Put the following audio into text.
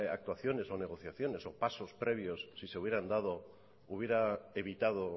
actuaciones o negociaciones o pasos previas si se hubieran dado hubiera evitado